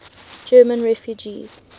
german refugees